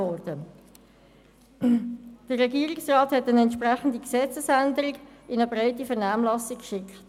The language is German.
Der Regierungsrat hat dann eine entsprechende Gesetzesänderung in eine breite Vernehmlassung geschickt.